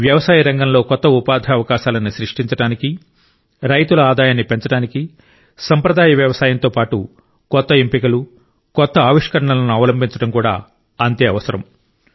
వ్యవసాయ రంగంలో కొత్త ఉపాధి అవకాశాలను సృష్టించడానికి రైతుల ఆదాయాన్ని పెంచడానికి సాంప్రదాయ వ్యవసాయంతో పాటు కొత్త ఎంపికలు కొత్త ఆవిష్కరణలను అవలంబించడం కూడా అంతే అవసరం